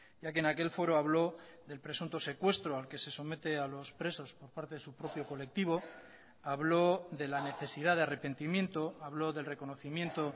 ya que en aquel foro habló del presunto secuestro al que se somete a los presos por parte de su propio colectivo habló de la necesidad de arrepentimiento habló del reconocimiento